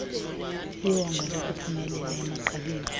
iwonga lokuphumelela emagqabini